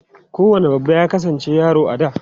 Kowane babba ya kasance yaro a da.